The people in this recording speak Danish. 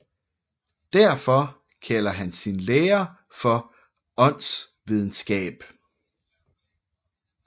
Derfor kalder han sin lære for åndsvidenskab